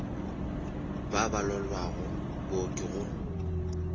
ba ba lwalago booki go